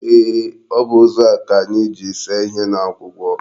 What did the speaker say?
Eeh, O bu ụzọ a ka anyi ji see ihe n'akwụkwọ.